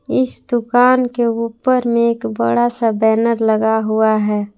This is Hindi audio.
इस दुकान के ऊपर में एक बड़ा सा बैनर लगा हुआ है।